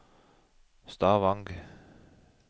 Stavang